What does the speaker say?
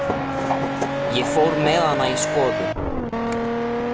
Ég fór með hana í skoðun.